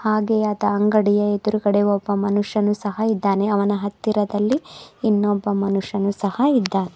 ಹಾಗೆ ಆತ ಅಂಗಡಿಯ ಎದುರಗಡೆ ಒಬ್ಬ ಮನುಷ್ಯನು ಸಹ ಇದಾನೆ ಅವನ ಹತ್ತಿರದಲ್ಲಿ ಇನ್ನೊಬ್ಬ ಮನುಷ್ಯನು ಸಹ ಇದ್ದಾ--